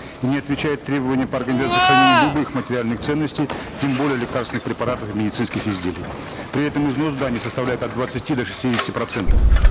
и не отвечают требованиям по организации хранения любых материальных ценностей тем более лекарственных препаратов и медицинских изделий при этом износ зданий составляет от двадцати до шестидесяти процентов